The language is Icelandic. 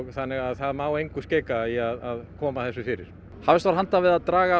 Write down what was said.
þannig að það má engu skeika í að koma þessu fyrir hafist var handa við að draga